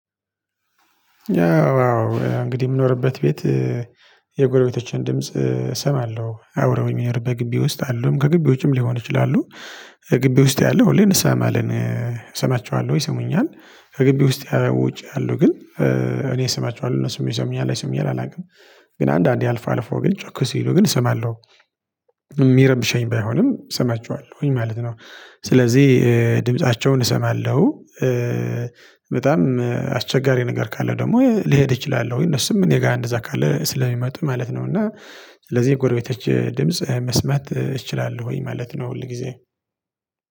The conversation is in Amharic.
ያው አዎ እንግዲህ የምኖርበት ቤት የጎረቤቶችን ድምጽ እሰማለሁ ያው አብረውኝ በምኖርበት ግቢ ውስጥ አሉ፤ ከግቢ ውጪም ሊሆን ይችላሉ። ግቢ ውስጥ ያለው ሁሌ እንሰማማለን። እሰማቸዋለሁ ይሰሙኛል። ከግቢ ውስጥ ያው ውጪ ያለው ግን እኔ ሰማቸዋለሁ እነሱም ይሰሙኛል አይሰሙኝ ይሆን አላውቅም። ግን አንድአንዴ አልፎ አልፎ ግን ጮክ ሲሉ ግን እሰማለሁ። የሚረብሸኝ ባይሆንም እሰማቸዋለሁኝ ማለት ነው። ስለዚህ ድምፃቸውን እሰማለሁ። በጣም አስቸጋሪ ነገር ካለ ደግሞ ልሄድ እችላለሁ። እነሱም እኔ ጋር እንደዛ ካለ ስለሚመጡ ማለት ነው እና ስለዚህ የጎረቤቶቼን ድምጽ መስማት እችላለሁኝ ማለት ነው ሁል ጊዜ።